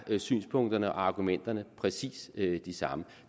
synspunkterne og argumenterne præcis de samme